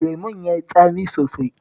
Lemon ya yi tsami sosai